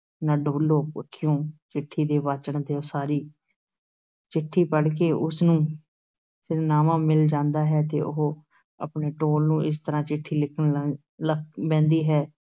ਨਾ ਡੁਲ੍ਹੋ ਅੱਖੀਓ ਚਿੱਠੀ ਤੇ ਵਾਚਣ ਦਿਓ ਸਾਰੀ ਚਿੱਠੀ ਪੜ੍ਹ ਕੇ ਉਸ ਨੂੰ ਸਿਰਨਾਵਾਂ ਮਿਲ ਜਾਂਦਾ ਹੈ ਤੇ ਉਹ ਆਪਣੇ ਢੋਲ ਨੂੰ ਇਸ ਤਰ੍ਹਾਂ ਚਿੱਠੀ ਲਿਖਣ ਲ ਬਹਿੰਦੀ ਹੈ,